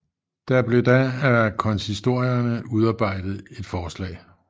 Der blev da af konsistorierne udarbejdet et forslag